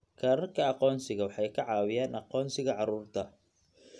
Kaararka aqoonsiga waxa ay ka caawinayaan aqoonsiga carruurta.